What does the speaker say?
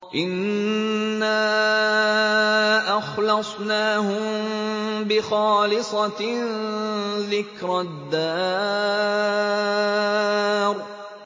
إِنَّا أَخْلَصْنَاهُم بِخَالِصَةٍ ذِكْرَى الدَّارِ